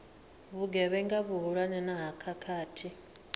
vhugevhenga vhuhulwane na ha khakhathi